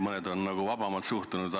Mõned aga on nagu vabamalt suhtunud.